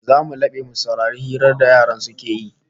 Zamu labe mu saurari hirar da yaran suke yi